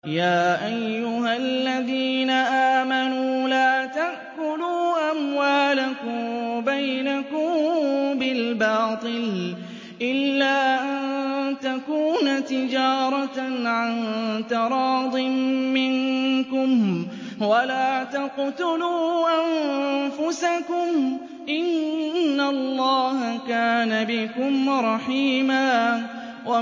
يَا أَيُّهَا الَّذِينَ آمَنُوا لَا تَأْكُلُوا أَمْوَالَكُم بَيْنَكُم بِالْبَاطِلِ إِلَّا أَن تَكُونَ تِجَارَةً عَن تَرَاضٍ مِّنكُمْ ۚ وَلَا تَقْتُلُوا أَنفُسَكُمْ ۚ إِنَّ اللَّهَ كَانَ بِكُمْ رَحِيمًا